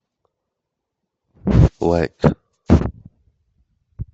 лайк